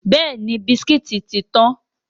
Bẹ́ẹ̀ni, bisikítì tí tán.